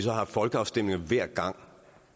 har haft folkeafstemninger hver gang